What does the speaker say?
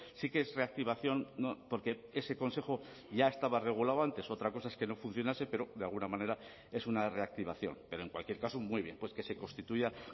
sí que es reactivación porque ese consejo ya estaba regulado antes otra cosa es que no funcionase pero de alguna manera es una reactivación pero en cualquier caso muy bien pues que se constituya